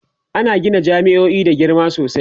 ana Gina jami'o'i da girma sosai